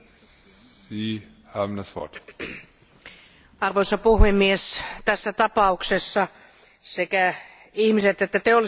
Arvoisa puhemies, tässä tapauksessa sekä ihmiset että teolliset toimijat toimivat aika hatarassa lainsäädäntöpuitteessa.